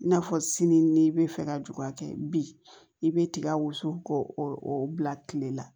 I n'a fɔ sini n'i bɛ fɛ ka ju ka kɛ bi i bɛ tiga wusu k'o bila kile la